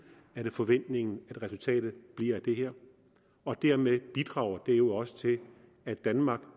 er det forventningen at resultatet bliver af det her og dermed bidrager det jo også til at danmark